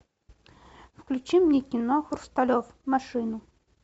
включи мне кино хрусталев машину